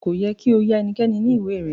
Ko yẹ ki o ya ẹnikẹ́ni ni ìwé rẹ.